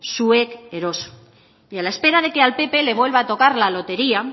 zuek eroso a la espera de que al pp le vuelva a tocar la lotería